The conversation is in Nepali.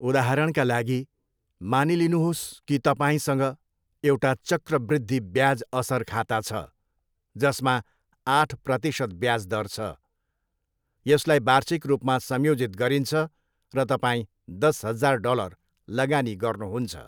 उदाहरणका लागि, मानिलिनुहोस् कि तपाईँसँग एउटा चक्रवृद्धि ब्याज असर खाता छ जसमा आठ प्रतिशत ब्याज दर छ, यसलाई वार्षिक रूपमा संयोजित गरिन्छ, र तपाईँ दस हजार डलर लगानी गर्नुहुन्छ।